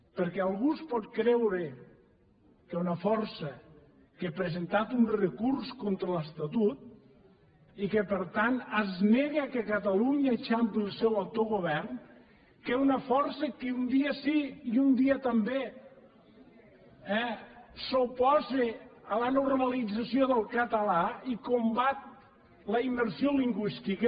perquè algú es pot creure que una força que ha presentat un recurs contra l’estatut i que per tant es nega que catalunya eixampli el seu autogovern que una força que un dia sí i un dia també eh s’oposa a la normalització del català i combat la immersió lingüística